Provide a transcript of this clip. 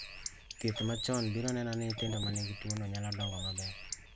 Thieth machon biro neno ni nyithindo manigi tuo no nyalo dongo maber